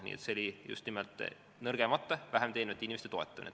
Nii et see oli just vähem teenivate inimeste toetamine.